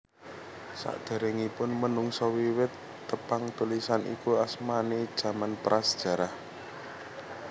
Sakderengipun menungsa wiwit tepang tulisan iku asmane jaman Prasejarah